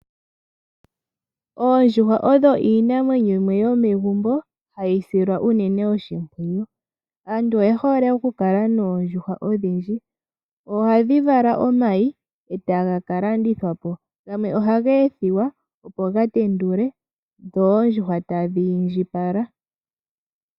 Oondjuhwa odho iinamwenyo yimwe yomegumbo hayi silwa uunene oshimpwiyu. Aantu oye hole oku kala noondjuhwa odhindji, ohadhi vala omayi eta ga kalandithwa po gamwe ohaga ethiwa opo ga tendule dho oondjuhwa tadhi indjipala.